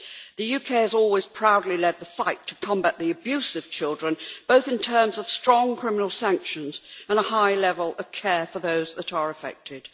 The UK has always proudly led the fight to combat the abuse of children, both in terms of strong criminal sanctions and a high level of care for those that are affected.